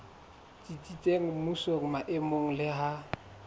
tsitsitseng mmusong maemong le ha